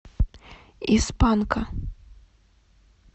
из панка